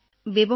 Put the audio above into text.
আৰু ঘৰত কি কৰে